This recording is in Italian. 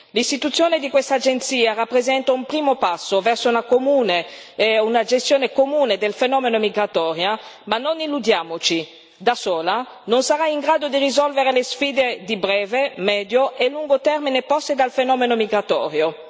L'istituzione di questa agenzia rappresenta un primo passo verso una gestione comune del fenomeno migratorio. Ma non illudiamoci da sola non sarà in grado di risolvere le sfide di breve, medio e lungo termine poste dal fenomeno migratorio.